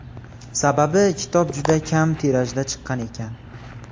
Sababi, kitob juda kam tirajda chiqqan ekan.